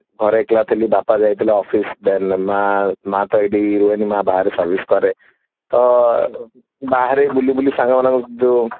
ଘରେ ଏକେଲା ଥିଲି ବାପା ଯାଇଥିଲେ ମାଆଁ ମା ତ ଏଇଠି ରୁହେନି ମା ତ ବାହାରେ service କରେ ତ ବାହାରେ ବୁଲିବୁଲି ସାଙ୍ଗମାନଙ୍କ ସହିତ ଯୋ